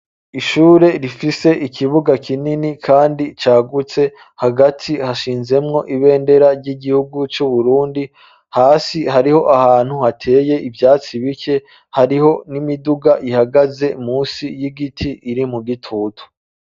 Ishure, rifise ikibuga kinini, kandi cagutse; hagati hashinzemwo, ibendera ry'igihugu c'Uburundi; hasi hariho ahantu, hateye ivyatsi bike, hariho n'imiduga ihagaze, munsi y'igiti, iri mu gitutu.